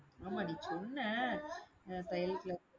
ஆமா நீ சொன்ன தையல் class